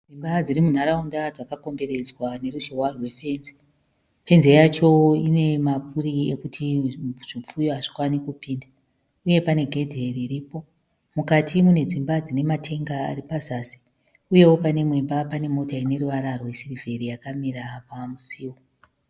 Imba dziri munharaunda dzakakomberedzwa neruzhowa rwefenzi fenzi yacho inemaburi ekuti zvipfuyo hazvikwane kupinda uye pane gedhi riripo mukati mune dzimba dzine matenga ari pazasi uyewo pane imwe imba pane Mota ine ruvara rwesirivheri yakamira pamusuwo